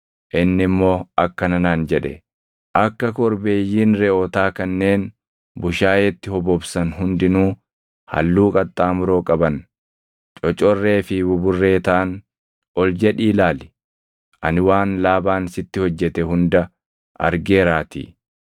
Inni immoo akkana naan jedhe; ‘Akka korbeeyyiin reʼootaa kanneen bushaayeetti hobobsan hundinuu halluu qaxxaamuroo qaban, cocorree fi buburree taʼan ol jedhii ilaali. Ani waan Laabaan sitti hojjete hunda argeeraatii.